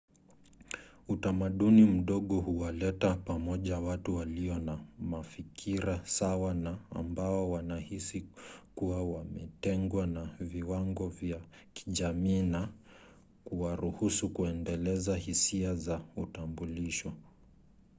utamaduni mdogo huwaleta pamoja watu walio wa mafikira sawa na ambao wanahisi kuwa wametengwa na viwango vya kijamii na kuwaruhusu kuendeleza hisia za utambulisho